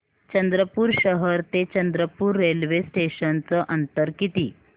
चंद्रपूर शहर ते चंद्रपुर रेल्वे स्टेशनचं अंतर किती